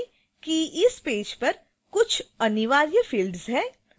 ध्यान दें कि इस पेज पर कुछ अनिवार्य फ़िल्ड्स हैं